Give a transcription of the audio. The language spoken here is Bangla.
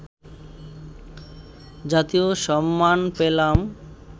জাতীয় সম্মান পেলাম